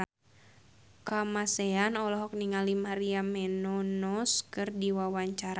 Kamasean olohok ningali Maria Menounos keur diwawancara